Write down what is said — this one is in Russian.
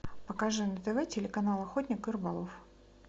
покажи на тв телеканал охотник и рыболов